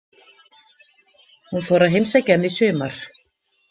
Hún fór að heimsækja hann í sumar.